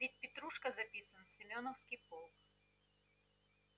ведь петрушка записан в семёновский полк